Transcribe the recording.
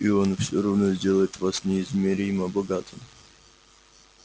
и он всё равно сделает вас неизмеримо богатым